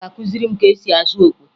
Ị ga-akụziri m ka esi azụ okwe!